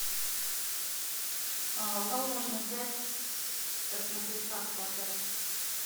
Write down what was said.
у кого можно взять посмотреть карту отеля